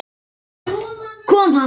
Kom hann?